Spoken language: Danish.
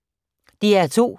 DR2